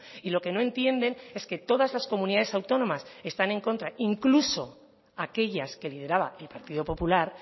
y lo que no entienden es que todas las comunidades autónomas están en contra incluso aquellas que lideraba el partido popular